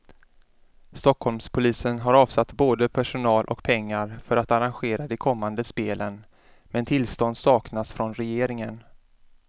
Stockholmspolisen har avsatt både personal och pengar för att arrangera de kommande spelen, men tillstånd saknas från regeringen.